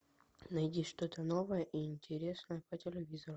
найди что то новое и интересное по телевизору